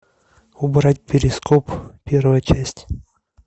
убрать перископ первая часть